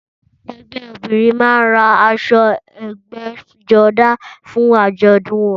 Ẹgbẹ́ obìrin man ra aṣọ ẹbgẹ́jodá fún àjọ̀dún wọn